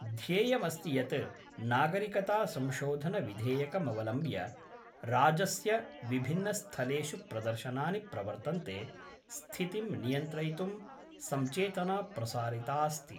ध्येयमस्ति यत् नागरिकतासंशोधन विधेयकमवलम्ब्य राजस्य विभिन्नस्थलेषु प्रदर्शनानि प्रवर्तन्ते, स्थितिं नियन्त्रितुं संचेतना प्रसारितास्ति।